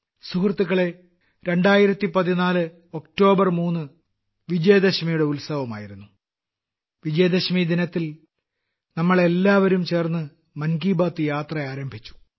സുഹൃത്തുക്കളേ 2014 ഒക്ടോബർ 3 വിജയദശമിയുടെ ഉത്സവമായിരുന്നു വിജയദശമി ദിനത്തിൽ നമ്മളെല്ലാവരും ചേർന്ന് മൻ കി ബാത്ത് യാത്ര ആരംഭിച്ചു